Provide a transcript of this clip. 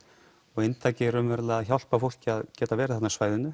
og inntakið hjálpar fólki að geta verið þarna á svæðinu